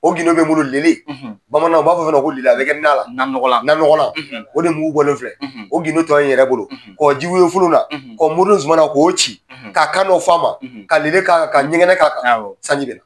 O gindo bɛ n bolo lele bamananw u b'a fɔ fɛn dɔ ma ko lele, a bɛ kɛ nan na, nan nɔgɔlan, nan nɔgɔlan o de mugu bɔlen filɛ o gindon tɔ ye n yɛrɛ bolo ka wɔ jiwoyo la ka mori Zumana k'o ci, ka kan dɔ f'a ma, ka lele ka kan, ka ɲɛgɛnɛ ka kan, sanji bɛna.